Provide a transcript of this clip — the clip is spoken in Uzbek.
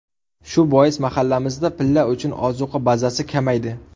Shu bois mahallamizda pilla uchun ozuqa bazasi kamaydi.